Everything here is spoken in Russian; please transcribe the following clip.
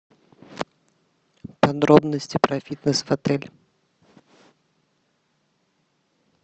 подробности про фитнес в отеле